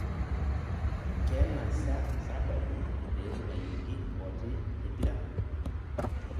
Kena sa sababu peetung'ayioki Ngoti tempira